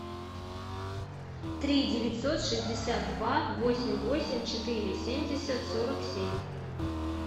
три девятьсот шестьдесят два восемь восемь четыре семьдесят сорок семь